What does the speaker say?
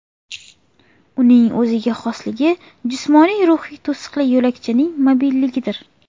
Uning o‘ziga xosligi jismoniy-ruhiy to‘siqli yo‘lakchaning mobilligidir.